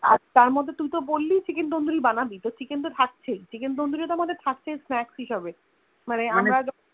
আর তার মধ্যে তুই তো বলি Chicken tandoori বানাবি তো Chicken তো থাকছেই chicken tandoori তো থাকছেই আমাদের Snacks হিযাবে মানে আমরা